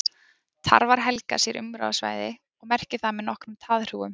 Tarfar helga sér umráðasvæði og merkja það með nokkrum taðhrúgum.